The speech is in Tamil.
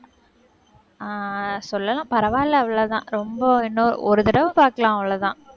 அஹ் சொல்லலாம் பரவாயில்லை, அவ்வளவுதான். ரொம்ப என்ன ஒரு தடவை பாக்கலாம் அவ்வளவுதான்.